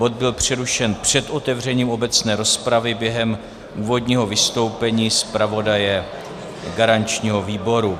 Bod byl přerušen před otevřením obecné rozpravy, během úvodního vystoupení zpravodaje garančního výboru.